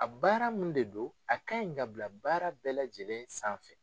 A baara mun de don , a ka ɲi ka bila baara bɛɛ lajɛlen sanfɛ.